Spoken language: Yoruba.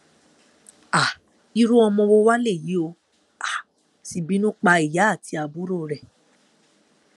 um irú ọmọ wo wàá léyìí ó um sì bínú pa ìyá àti àbúrò rẹ